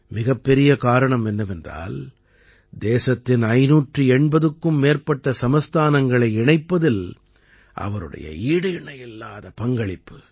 மிகப்பெரிய காரணம் என்னவென்றால் தேசத்தின் 580க்கும் மேற்பட்ட சமஸ்தானங்களை இணைப்பதில் அவருடைய ஈடிணையில்லாத பங்களிப்பு